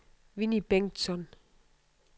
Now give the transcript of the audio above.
Winnie Bengtsson